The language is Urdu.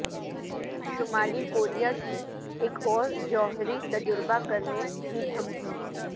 شمالی کوریا کی ایک اور جوہری تجربہ کرنے کی دھمکی